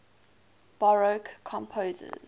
baroque composers